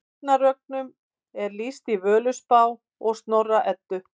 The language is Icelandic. Ragnarökum er lýst í Völuspá og Snorra Eddu.